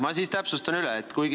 Ma siis täpsustan üle.